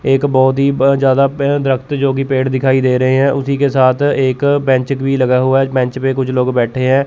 एक बहोत ही ब ज्यादा प रक्त जो कि पेड़ दिखाई दे रहे हैं उसी के साथ एक बेन्चिक भी लगा हुआ है बेंच पर कुछ लोग बैठे हैं।